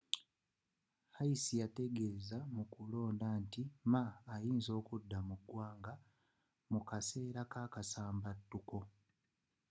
hsieh yategeza mukulonda nti ma ayinza okudduka mu ggwanga mu kaseera kakasambattuko